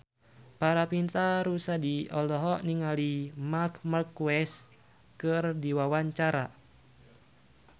Paramitha Rusady olohok ningali Marc Marquez keur diwawancara